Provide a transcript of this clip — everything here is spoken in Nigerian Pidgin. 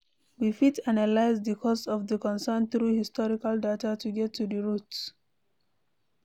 We fit analyse the cause of di concern through historical data to get to the root